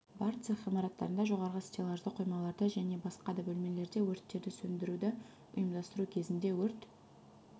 бар цех ғимараттарында жоғары стеллажды қоймаларда және басқа да бөлмелерде өрттерді сөндіруді ұйымдастыру кезінде өрт